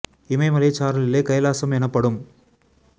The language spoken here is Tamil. இமயமலைச் சாரலிலே கைலாசம் எனப்படும்